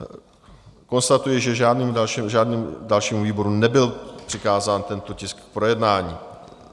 Konstatuji, že žádnému dalšímu výboru nebyl přikázán tento tisk k projednání.